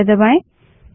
अब एंटर दबायें